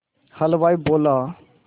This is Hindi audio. हलवाई बोला